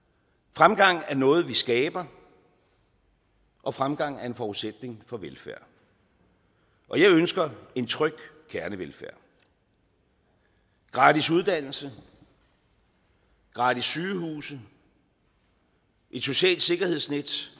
fremgang er noget vi skaber og fremgang er en forudsætning for velfærd og jeg ønsker en tryg kernevelfærd gratis uddannelse gratis sygehuse et socialt sikkerhedsnet